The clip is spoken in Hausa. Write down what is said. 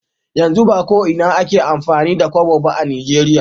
Yanzu ba ko Ina ake amfani da Kobo ba a nijeria